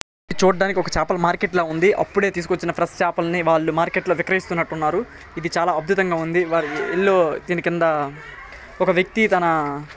ఇది చూడ్డానికి ఒక చాపలు మార్కెట్లా ఉంది. అప్పుడే తీసుకొచ్చిన ఫ్రెష్ చాపల్ని వాళ్లు మార్కెట్ లో విక్రయిస్తున్నట్టున్నారు. ఇది చాలా అద్భుతంగా ఉంది వారి ఇల్లు దీని కింద ఒక వ్యక్తి తన --